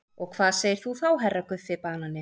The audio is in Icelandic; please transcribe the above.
Og hvað segir þú þá HERRA Guffi banani?